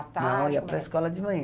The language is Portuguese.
Não, eu ia para a escola de manhã.